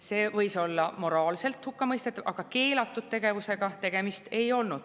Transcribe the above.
See võis olla moraalselt hukkamõistetav, aga keelatud tegevus see ei olnud.